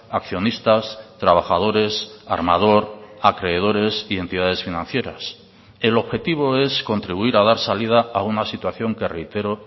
accionistas trabajadores armador acreedores y entidades financieras el objetivo es contribuir a dar salida a una situación que reitero